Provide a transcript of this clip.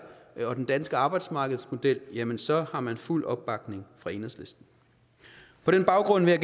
og den danske arbejdsmarkedsmodel jamen så har man fuld opbakning fra enhedslisten på den baggrund vil